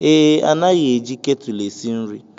Ee, anaghị eji ketụl esi nri.